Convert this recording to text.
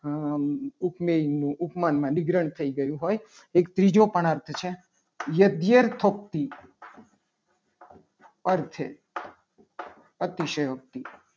ઉપમેયનું ઉપમાનમાં નિગ્રહ થઈ ગયું. હોય એક ત્રીજો પણ અર્થ છે. યજ્ઞ શક્તિ અર્થ છે. અતિશયોક્તિ